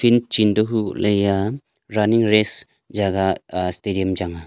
chin to hukohley eya running race jaga stadium chang a.